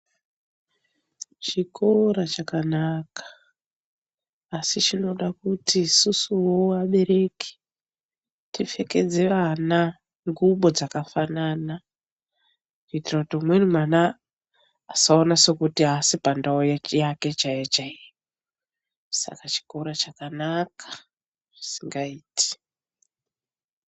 Chikora chakanaka asi chinoda kuti isusuwo vabereki tipfekedze vana ngubo dzakafanana, kuitira kuti umweni mwana asaona sekuti aasi pandau yake chaiyo chaiyo. Saka chikora chakanaka zvisingaiti.